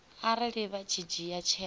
arali vha tshi dzhia tsheo